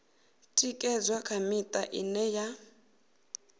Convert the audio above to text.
ṅekedzwa kha miṱa ine ya